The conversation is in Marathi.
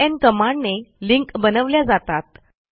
एलएन कमांडने लिंक बनवल्या जातात